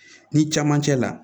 Ni camancɛ la